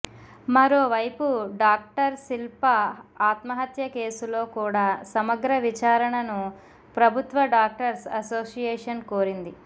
మరోవైపు డాక్టర్ శిల్ప ఆత్మహత్య కేసులో కూడ సమగ్ర విచారణను ప్రభుత్వ డాక్టర్స్ అసోసియేషన్ కోరింది